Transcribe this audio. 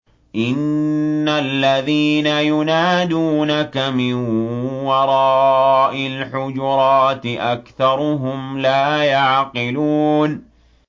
إِنَّ الَّذِينَ يُنَادُونَكَ مِن وَرَاءِ الْحُجُرَاتِ أَكْثَرُهُمْ لَا يَعْقِلُونَ